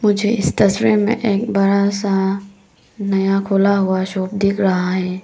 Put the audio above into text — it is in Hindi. मुझे इस तस्वीर में एक बड़ा सा नया खुला हुआ शॉप दिख रहा है।